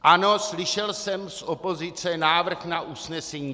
Ano, slyšel jsem z opozice návrh na usnesení.